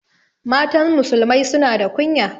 Matan musulmai suna da kunya